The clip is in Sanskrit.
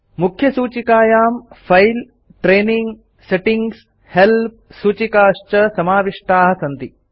मुख्यसूचिकायां फिले ट्रेनिंग सेटिंग्स् हेल्प् सूचिकाश्च समाविष्टाः सन्ति